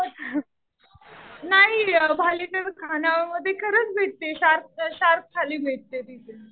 नाही. भालेकर खाणावळमध्ये खरंच भेटते. शार्क थाली भेटते तिथे.